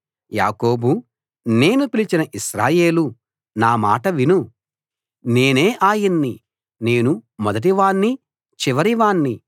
యాకోబూ నేను పిలిచిన ఇశ్రాయేలూ నా మాట విను నేనే ఆయన్ని నేను మొదటివాణ్ణి చివరివాణ్ణి